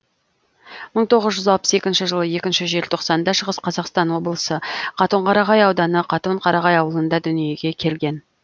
мың тоғыз жүз алпыс екінші жылы екінші желтоқсанда шығыс қазақстан облысы қатон қарағай ауданы қатон қарағай ауылында дүниеге келген